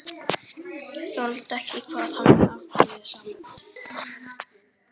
Þoldi ekki hvað hann var afbrýðisamur.